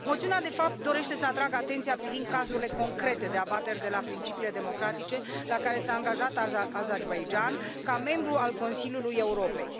Moțiunea, de fapt, dorește să atragă atenția privind cazurile concrete de abateri de la principiile democratice la care s a angajat Azerbaidjanul ca membru al Consiliului Europei.